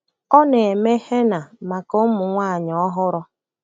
Ọ na-eme henna maka ụmụ nwanyị ọhụrụ.